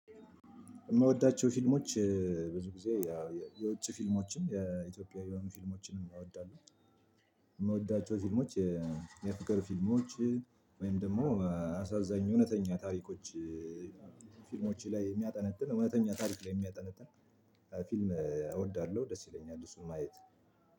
የምወዳቸው ፊልሞች ብዙ ጊዜ ያው የውጭ ፊልሞችም የኢትዮጵያ የሆኑ ፊልሞችንም እወዳለሁ። የምወዳቸው ፊልሞች የፍቅር ፊልሞች ወይም ደግሞ አሳዛኝ እውነተኛ ታሪኮች። ፊልሞች ላይ የሚያጠነጥን እውነተኛ ታሪክ ላይ የሚያጠነጥን ፊልም እወዳለሁ ደስ ይለኛል እሱን ማየት